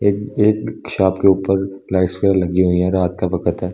एक एक शॉप के ऊपर लाइट्स वगैरह लगी हुई है रात का वक्त है।